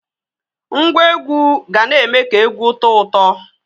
Ngwa egwu ga na-eme ka egwu tọọ ụtọ.